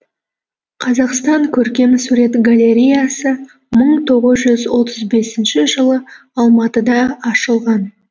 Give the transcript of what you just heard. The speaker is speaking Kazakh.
қазақстан көркемсурет галереясы мың тоғыз жүз отыз бесінші жылы алматыда ашылған